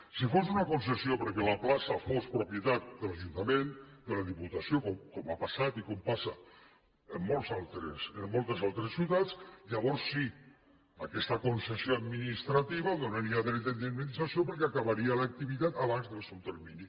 si fos una concessió perquè la plaça fos propietat de l’ajuntament de la diputació com ha passat i com passa en moltes altres ciutats llavors sí aquesta concessió administrativa donaria dret a indemnització perquè acabaria l’activitat abans del seu termini